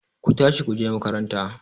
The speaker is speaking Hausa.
Ku tashi ku je makaranta!